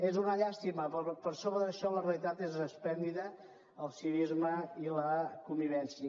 és una llàstima però per sobre d’això la realitat és esplèndida el civisme i la convivència